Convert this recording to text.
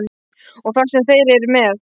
Og það sem þeir eru með.